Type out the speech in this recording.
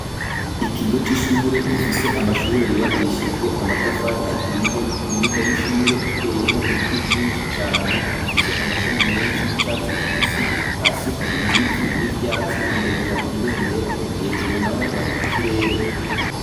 Ikigo c'ishure gifise amashure yubakishijwe amatafari aturiye, imbuga y'ishure iteyemwo ibiti vyinshi cane bifise amashami menshi y'icatsi kibisi, hasi hari ibivu n'ivyatsi, imbere hari ibendera, hejuru naho hari ikirere.